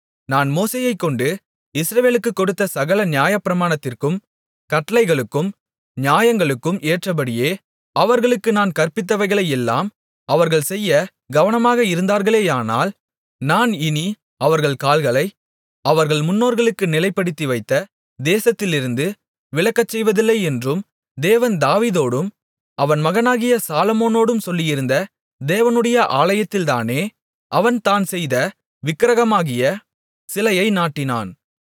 நான் மோசேயைக்கொண்டு இஸ்ரவேலுக்குக் கொடுத்த சகல நியாயப்பிரமாணத்திற்கும் கட்டளைகளுக்கும் நியாயங்களுக்கும் ஏற்றபடியே அவர்களுக்கு நான் கற்பித்தவைகளையெல்லாம் அவர்கள் செய்யக் கவனமாக இருந்தார்களேயானால் நான் இனி அவர்கள் கால்களை அவர்கள் முன்னோர்களுக்கு நிலைப்படுத்திவைத்த தேசத்திலிருந்து விலகச்செய்வதில்லையென்றும் தேவன் தாவீதோடும் அவன் மகனாகிய சாலொமோனோடும் சொல்லியிருந்த தேவனுடைய ஆலயத்தில்தானே அவன் தான் செய்த விக்கிரகமாகிய சிலையை நாட்டினான்